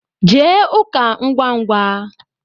Jee ụka ngwa ngwa